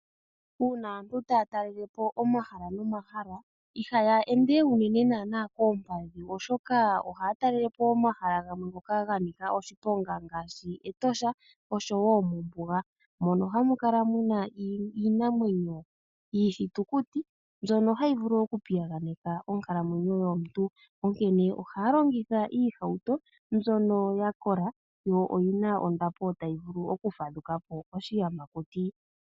Uuna aantu taya talelepo omahala nomahala ihaya ende unene naana koompadhi oshoka ohaya talelepo omahala gamwe ngoka ganika oshiponga ngaashi Etosha oshowo mombuga mono hamu kala muna iinamwenyo yomokuti mbyono hayi vulu oku piyaganeka onkalo yomuntu, onkene ohaya longitha iihauto mbyoko yakola yo oyina ondapo tayi vulu okufadhukapo oshiyamakuti